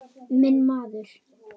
Minn maður!